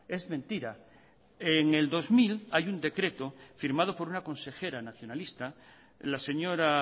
es mentira en el dos mil hay un decreto firmado por una consejera nacionalista la señora